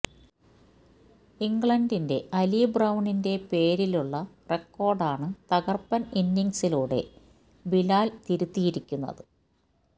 ഇംഗ്ലണ്ടിന്റെ അലി ബ്രൌണിന്റെ പേരിലുള്ള റെക്കോര്ഡാണ് തകര്പ്പന് ഇന്നിങ്സിലൂടെ ബിലാല് തിരുത്തിയിരിക്കുന്നത്